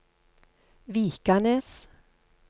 Vikanes